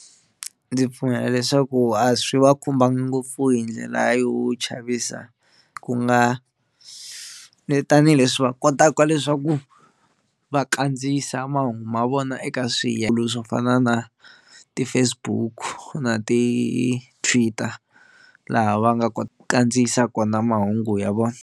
Ndzi pfumela leswaku a swi va khumbanga ngopfu hi ndlela yo chavisa ku nga vi tanihileswi va kotaka leswaku va kandziyisa mahungu ma vona eka swiyenge swo fana na ti-Facebook na ti-Twitter laha va nga ku kandziyisa kona mahungu ya vona.